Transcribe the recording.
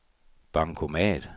bankomat